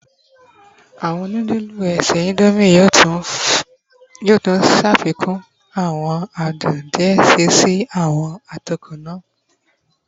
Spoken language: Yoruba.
Awọn nudulu ese Indomie yoo tun ṣafikun awọn adun diẹ sii si awọn atokọ naa